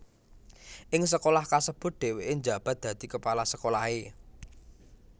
Ing sekolah kasebut dhèwèké njabat dadi kepala sekolahé